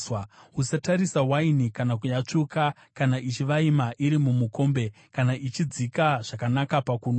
Usatarisa waini kana yatsvuka, kana ichivaima iri mumukombe, kana ichidzika zvakanaka pakunwa!